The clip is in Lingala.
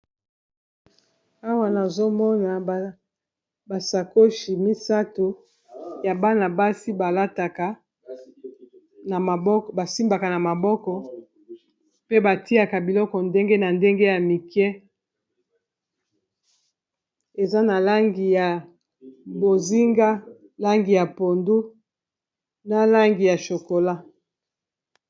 Awa nazomona basakoshi misato ya bana-basi balataka ba simbaka na maboko pe batiaka biloko ndenge na ndenge ya mike eza na langi ya bozinga, langi ya pondu, na langi ya shokola.